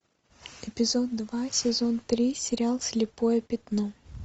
эпизод два сезон три сериал слепое пятно